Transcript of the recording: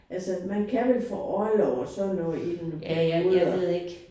Altså man kan vel få orlov og sådan noget i nogle perioder